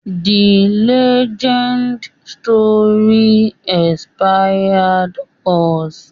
The legendary story inspired us.